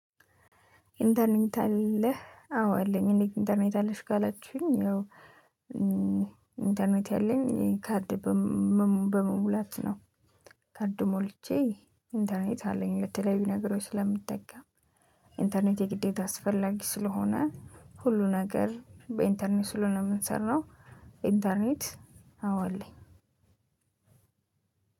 ኢንተርኔት አለህ አዎ አለኝ። እንዴት ኢንተርኔት አለሽ? ካላችሁኝ ያው ኢንተርኔት ያለኝ ካርድ በመሙላት ነው ካርድ ሞልቼ ኢንተርኔት አለኝ ለተለያዩ ነገሮች ስለምጠቀም። ኢንተርኔት የግዴታ አስፈላጊ ስለሆነ ሁሉ ነገር በኢንተርኔት ስለሆነ የምንሰራው። ኢንተርኔት አዋ አለኝ።